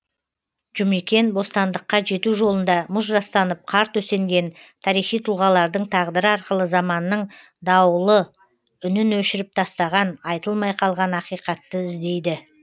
жұмекен бостандыққа жету жолында мұз жастанып қар төсенген тарихи тұлғалардың тағдыры арқылы заманның дауылы үнін өшіріп тастаған айтылмай қалған ақиқатты іздейді